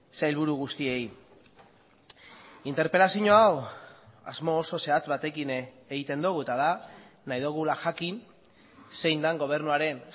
sailburu guztiei interpelazio hau asmo oso zehatz batekin egiten dugu eta da nahi dugula jakin zein den gobernuaren